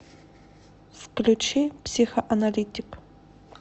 включи психоаналитик